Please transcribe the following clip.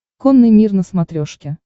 конный мир на смотрешке